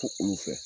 Fo olu fɛ